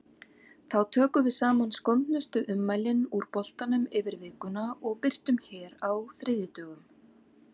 Þá tökum við saman skondnustu ummælin úr boltanum yfir vikuna og birtum hér á þriðjudögum.